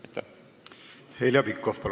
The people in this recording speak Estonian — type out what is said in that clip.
Heljo Pikhof, palun!